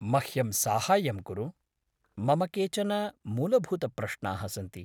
मह्यं साहाय्यं कुरु, मम केचन मूलभूतप्रश्नाः सन्ति।